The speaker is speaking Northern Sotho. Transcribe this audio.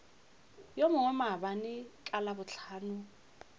yo mongwe maabane ka labohlano